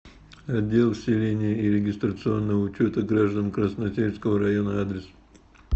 отдел вселения и регистрационного учета граждан красносельского района адрес